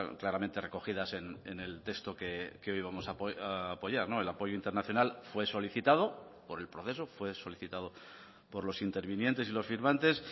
claramente recogidas en el texto que hoy vamos a apoyar el apoyo internacional fue solicitado por el proceso fue solicitado por los intervinientes y los firmantes